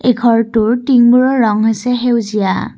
ঘৰটোৰ টিংবোৰৰ ৰং হৈছে সেউজীয়া।